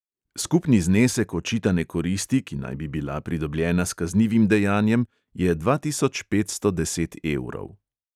Skupni znesek očitane koristi, ki naj bi bila pridobljena s kaznivim dejanjem, je dva tisoč petsto deset evrov.